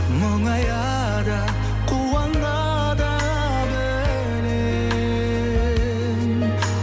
мұңая да қуана да білем